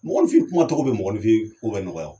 Mɔgɔnifin kuma tɔgɔ be mɔgɔnifin ko bɛ nɔgɔya o